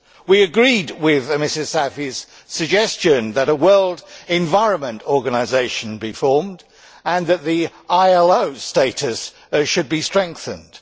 We agree with Ms Saïfi's suggestion that a world environment organisation be formed and that the ILO status should be strengthened.